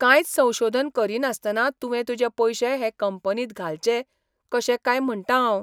कांयच संशोधन करिनासतना तुवें तुजें पयशे हे कंपनींत घालेच कशे काय म्हणटां हांव!